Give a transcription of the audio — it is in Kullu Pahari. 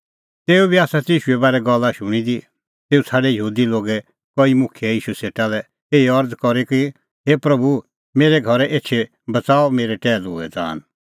तेऊ बी आसा ती ईशूए बारै गल्ला शूणीं दी तेऊ छ़ाडै यहूदी लोगे कई मुखियै ईशू सेटा लै एही अरज़ करी कि हे प्रभू मेरै घरै एछी करै बच़ाऊ मेरै टैहलूए ज़ान